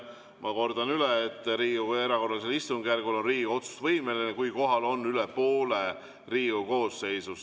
Ma kordan üle, et Riigikogu erakorralisel istungjärgul on Riigikogu otsustusvõimeline, kui kohal on üle poole Riigikogu koosseisust.